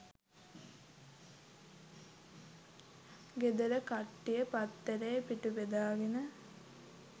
ගෙදර කට්ටිය පත්තරේ පිටු බෙදාගෙන